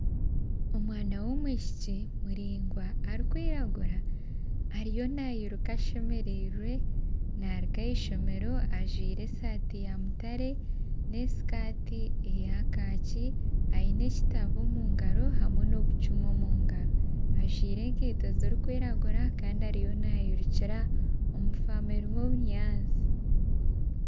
Omwana y'omwishiki muringwa arikwiragura ariyo nayiruka ashemerirwe naruga ahishomero ajwire esati ya mutare n'esikati eya kakyi. Ayine ekitabo omungaro hamwe n'obucumu omungaro. Ajwire enkeito zirikwiragura Kandi ariyo nayirukira omu famu erimu obunyaasti.